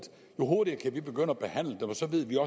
jo hurtigere kan vi begynde at behandle dem og så ved vi jo